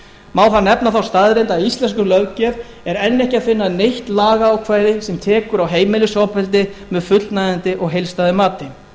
þar nefna þá staðreynd að í íslenskri löggjöf er enn ekki að finna neitt lagaákvæði sem tekur á heimilisofbeldi með fullnægjandi og heildstæðu mati